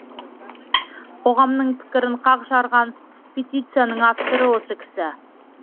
қоғамның пікірін қақ жарған петицияның авторы осы кісі